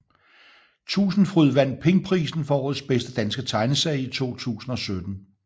Tusindfryd vandt Pingprisen for årets bedste danske tegneserie i 2017